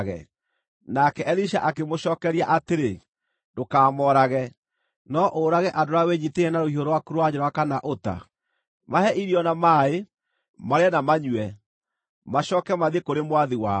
Nake Elisha akĩmũcookeria atĩrĩ, “Ndũkamoorage. No ũũrage andũ arĩa wĩnyiitĩire na rũhiũ rwaku rwa njora kana ũta? Mahe irio na maaĩ, marĩe na manyue, macooke mathiĩ kũrĩ mwathi wao.”